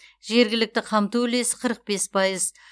жергілікті қамту үлесі қырық бес пайыз